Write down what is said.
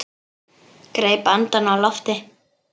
Greip andann á lofti.